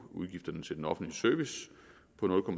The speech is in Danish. udgifterne til den offentlige service på